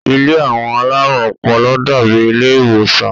Ilé àwọn alárùn ọpọlọ dàábi ilé ìwòsàn